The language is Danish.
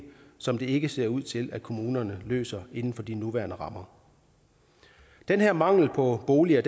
som det ikke ser ud til at kommunerne løser inden for de nuværende rammer den her mangel på boliger